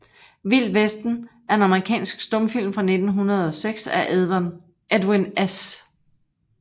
Vild Vesten er en amerikansk stumfilm fra 1906 af Edwin S